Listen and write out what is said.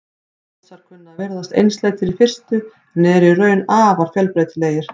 Mosar kunna að virðast einsleitir í fyrstu en eru í raun afar fjölbreytilegir.